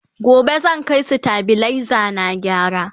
gobe zan Kai stabilizer na gyara